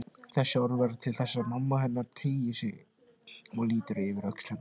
Þessi orð verða til þess að mamma hennar teygir sig og lítur yfir öxl hennar.